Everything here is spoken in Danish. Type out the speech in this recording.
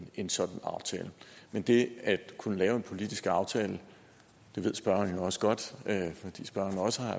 en sådan aftale men det at kunne lave en politisk aftale ved spørgeren jo også godt fordi spørgeren også har